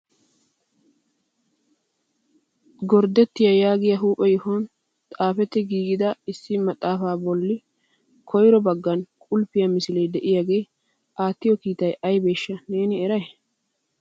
gorddettia yaagiya huuphphe yohuwan xaafettida giigid issi maxaafa bolla kooho baggan qulfiya misile de'iyaage aattiyo kiitay aybbeshsha neeni eray ?